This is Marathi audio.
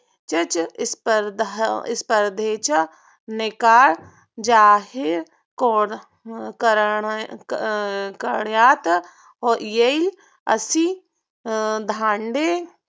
चच स्पर्धेचा निकाल जाहीर करण्यास येईल. आशिष धांडे